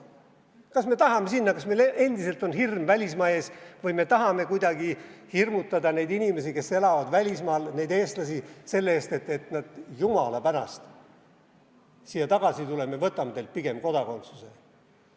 Kas me tahame sinna, kas meil endiselt on hirm välismaa ees või me tahame kuidagi hirmutada neid inimesi, neid eestlasi, kes elavad välismaal, selle eest, et nad jumala pärast siia tagasi ei tuleks, võtame neilt pigem kodakondsuse?